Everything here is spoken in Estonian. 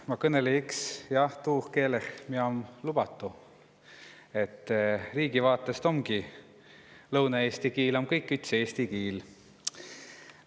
Ma kõnõlõ õks tuun keelen, mis om lubatu' – lõunaeesti kiil om meil riigin jo tavaline eesti kiil.